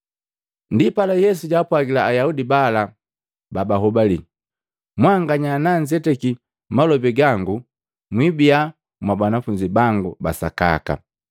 Ndipala Yesu jaapwagila Ayaudi bala babahobali, “Mwanganya nanzetaki malobi gango mwibiya mwa banafunzi bangu basakaka.